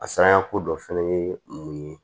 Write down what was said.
A sarako dɔ fɛnɛ ye mun ye